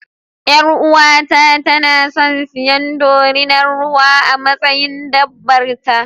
Yar'uwata tana son siyan dorinar ruwa a matsayin dabbar ta.